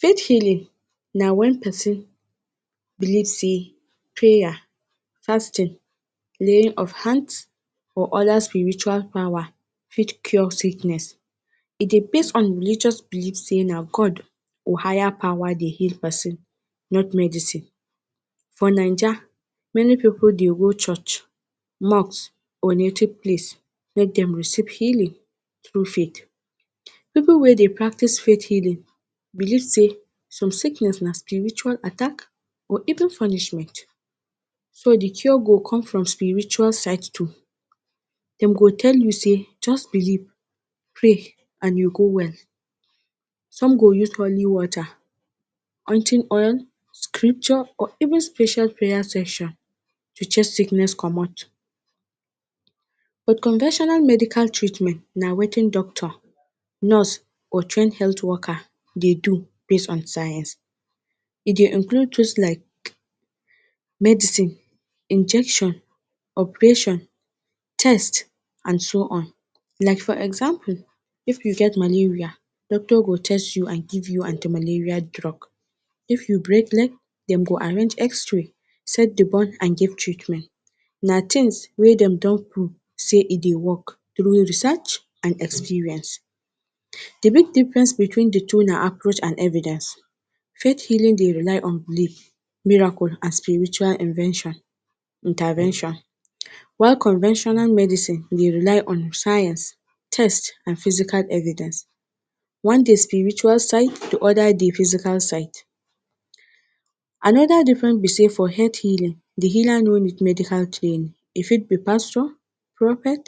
fate healing na wen pesin believe say prayer, fasting laying of hants or oda spiritual pawar fit cure sickness e dey based on religous believe say na god wu hire pawar dey heal persin not medicine for naija many pipo dey go church, mosque or native place make dem receve healing tru fate pipo we dey practice fate healing believe say sum sickness na spiritual attack or evbin punishment so d cure go com for spiritual side too, dem go tell you say just believ fail and you go well. sum go use holi water, onti oil, scrpture of evin special prayer session to chez sickness comot unconventional meidcal treatment na watin doctor, nurse or train health worker dey do base on science e dey include pos like um medicine, injection, opation, test and so on, like for example, if you get malaria doctor go ches you and give you anti malaria drug. if you break leg den go arrange xray set di bon and give treatment na tins wey den don pruv say e dey work tru research and experience di real difference betwin di two na approach and envidence. fate healing dey rely on buliv, miracle and spiritual invention intervention while conventional medicine dey rely on science, test and physical envidence, one dey spiritual side di oda dey physical side. anoda difference betwin for health healing di healer no need medical chain e fi be pastor, propet,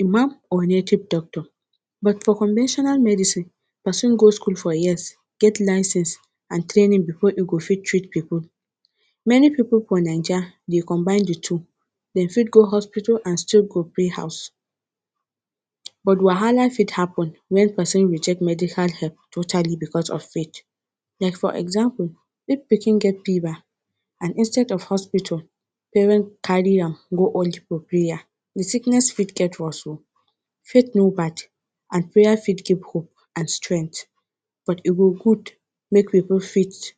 imam or nativ doctor, but for conventional medicine pesin go skull for years get license and trainin bfor e go fit treat pipo. meni pipo for naija dey combine di two, den fit go hospital and still go pray house but wahala fit hapen wen persin reject medical help totallty bcos of fate like for example ifp peson get pever and instead of hospitol paren carry am go hold for prayer di sickness fit get worse o fate no bad and prayer fit give hope and strenght but e go gud make wu put fate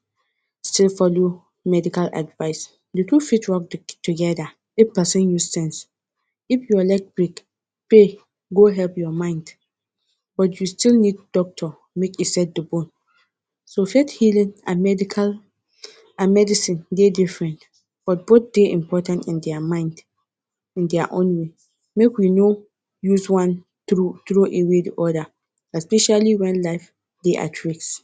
still follow medical advice di tru fate rog work togeda if pesin use sense. if your leg break pray go help your mind but you still need doctor make e set de bone so fate healing and medical and medicine dey different but both dey important in their mind in their own way, make we no use one tru trow way di oda especially wen life dey at risk